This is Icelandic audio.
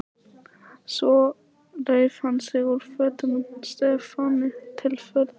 Svo reif hann sig úr fötunum, Stefáni til furðu.